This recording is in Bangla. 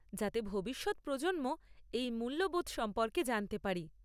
যাতে ভবিষ্যৎ প্রজন্ম এই মূল্যবোধ সম্পর্কে জানতে পারে।